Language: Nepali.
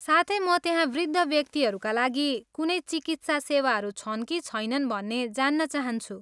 साथै, म त्यहाँ वृद्ध व्यक्तिहरूका लागि कुनै चिकित्सा सेवाहरू छन् कि छैनन् भन्ने जान्न चाहन्छु?